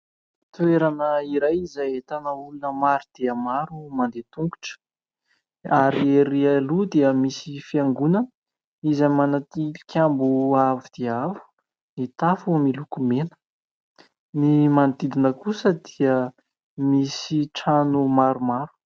Toerana iray izay ahitana olona maro dia maro mandeha tongotra ary erỳ aloha dia misy fiangonana izay manao tilikambo avo dia avo ny tafo miloko mena. Ny manodidina kosa dia misy trano maromaro.